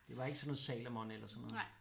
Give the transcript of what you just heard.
Det ikke sådan noget Salomon eller sådan noget